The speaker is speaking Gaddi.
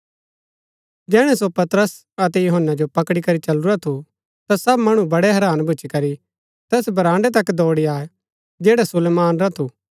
जैहणै सो पतरस अतै यूहन्‍ना जो पकडी करी चलुरा थु ता सब मणु बड़ै हैरान भूच्ची करी तैस बराण्ड़ै तक दौड़ी आये जैडा सुलेमान रा थू